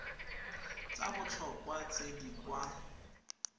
tsa botlhokwa tse di kwa